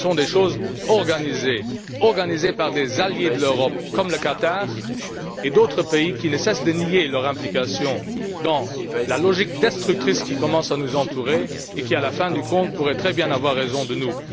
Ces voyages sont organisés par des alliés de l'Europe, comme le Qatar, et d'autres pays qui ne cessent de nier leur implication dans la logique destructrice qui commence à nous entourer et qui, en fin du compte, pourrait très bien avoir raison de nous.